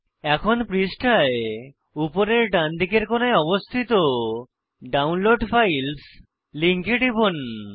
এখন পৃষ্ঠায় উপরের ডান দিকের কোণায় অবস্থিত ডাউনলোড ফাইলস লিঙ্কে টিপুন